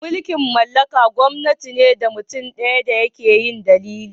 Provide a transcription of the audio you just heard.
Mulki'n mallaka gwamnati ne da mutum daya ke yi dalilin.